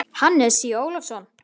Hannes Í. Ólafsson.